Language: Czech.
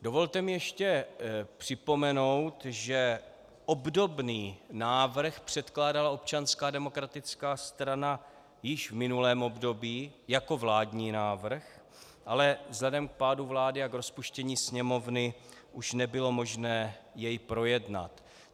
Dovolte mi ještě připomenout, že obdobný návrh předkládala Občanská demokratická strana již v minulém období jako vládní návrh, ale vzhledem k pádu vlády a k rozpuštění Sněmovny už nebylo možné jej projednat.